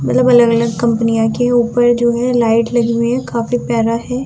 मतलब अलग-अलग क्सकंपन्या की ऊपर जो है लाइट लहगी हुई है काफी प्यारा है।